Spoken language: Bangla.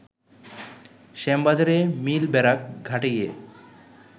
শ্যামবাজারে মিল ব্যারাক ঘাটে গিয়ে